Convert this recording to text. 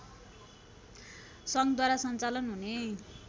सङ्घद्वारा सञ्चालन हुने